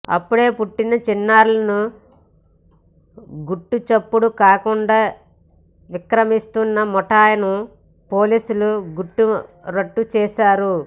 అప్పుడే పుట్టిన చిన్నారులను గుట్టుచప్పుడు కాకుండా విక్రయిస్తున్న ముఠాను పోలీసులు గుట్టు రట్టు చేశారు